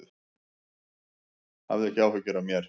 Hafðu ekki áhyggjur af mér.